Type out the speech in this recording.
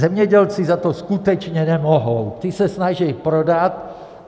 Zemědělci za to skutečně nemohou, ti se snaží prodat.